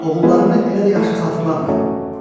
Oğullarını elə də yaxşı xatırlamıram.